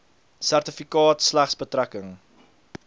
sertifikaat slegs betrekking